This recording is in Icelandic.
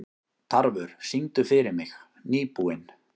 Tarfur, syngdu fyrir mig „Nýbúinn“.